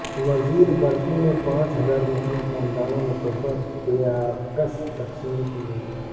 وزیر برقی نے پانچ ہزار مسلم خاندانوں میں تحفہ پیاکس تقسیم کئے